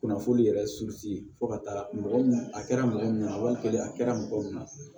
Kunnafoni yɛrɛ fo ka taa mɔgɔ a kɛra mɔgɔ min ɲɛna walikɛ a kɛra mɔgɔ min na